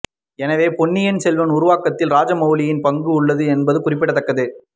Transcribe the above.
எனவே பொன்னியின் செல்வன் உருவாக்கத்தில் ராஜமௌலியின் பங்கும் உள்ளது என்பது குறிப்பிடத்தக்கது